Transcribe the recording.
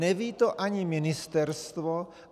Neví to ani ministerstvo.